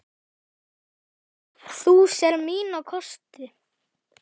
Þú sérð mína kosti.